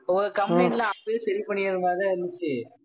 ஒவ்வொரு complaint லாம் அப்பவே சரி பண்ணிற மாதிரிதான் இருந்துச்சி